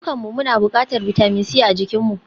Dukanmu muna buƙatar bitamin C a jikinmu